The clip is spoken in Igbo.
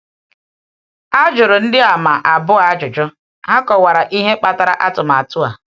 A um jụrụ Ndịàmà Abụọ ajụjụ, ha kọwara ihe kpatara um atụmatụ a.